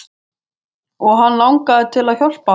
Og langaði þig til að hjálpa?